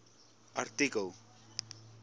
artikel